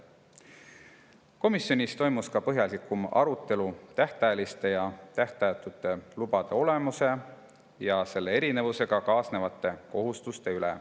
Komisjonis toimus põhjalik arutelu ka tähtajaliste ja tähtajatute lubade olemuse ja nende erinevusega kaasnevate kohustuste üle.